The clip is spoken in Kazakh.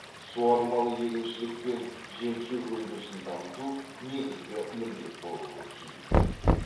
суармалы егіншілік пен жем шөп өндірісін дамыту негізгі міндет болуы тиіс